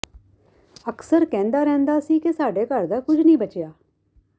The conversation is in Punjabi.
ਅਕਸਰ ਕਹਿੰਦਾ ਰਹਿੰਦਾ ਸੀ ਕਿ ਸਾਡੇ ਘਰ ਦਾ ਕੁੱਝ ਨਹੀਂ ਬਚਿਆ